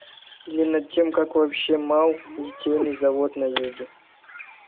или над тем как вообще мал литейный завод на юге